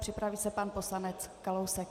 Připraví se pan poslanec Kalousek.